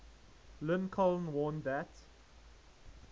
lincoln warned that